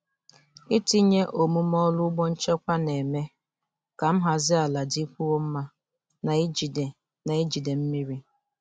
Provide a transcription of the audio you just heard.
Itinye omume ọrụ ugbo nchekwa na-eme ka nhazi ala dịkwuo mma na ijide na ijide mmiri.